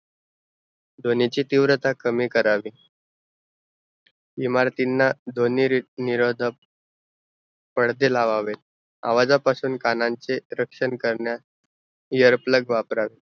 ध्वनी ची तीव्रता कमी करावे, इमारतीना ध्वनी री निरोधक पडदे लावावे, आवाजा पासून कानांचे रक्षन करन्यास ear plug वापरावे